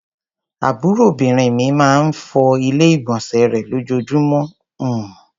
Àbúròbìnrin mi máa ń fọ Ilé-ìgbọ̀nsẹ̀ rẹ̀ lójoojúmọ́ bmm.